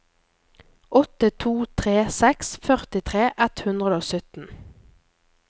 åtte to tre seks førtitre ett hundre og sytten